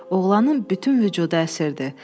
Oğlanın bütün vücudu əsirdi.